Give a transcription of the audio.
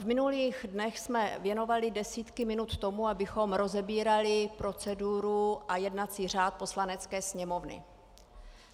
V minulých dnech jsme věnovali desítky minut tomu, abychom rozebírali proceduru a jednací řád Poslanecké sněmovny.